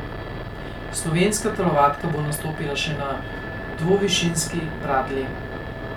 Slovenska telovadka bo nastopila še na dvovišinski bradlji.